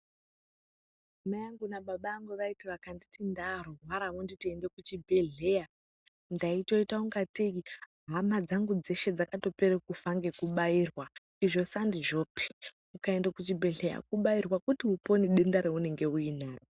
Mai angu na baba angu vaiti vakanditi ndarwara vonditi ende kuchibhedhleya ndaitoita kunga teyi hama dzangu dzeshe dzakatopere kufa ngekubairwa izvo sandizvopi . Ukaenda kuchibhedhleya kubairwa kuti upone denda raunenge uinaro.